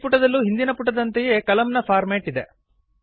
ಈ ಪುಟದಲ್ಲೂ ಹಿಂದಿನ ಪುಟದಂತೆಯೇ ಕಲಮ್ ನ ಫಾರ್ಮ್ಯಾಟ್ ಇದೆ